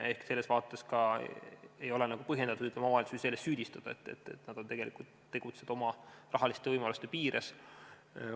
Ehk selles vaates ei ole ka põhjendatud, kui omavalitsusi selles süüdistada, sest nad tegutsevad oma rahaliste võimaluste piires.